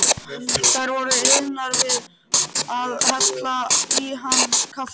Þær voru iðnar við að hella í hann kaffi.